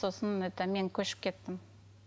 сосын это мен көшіп кеттім